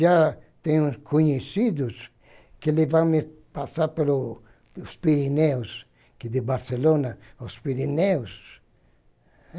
Já tenho conhecidos que levaram-me a passar pelo pelos Pirineus, aqui de Barcelona aos Pirineus.